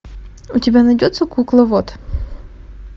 у тебя найдется кукловод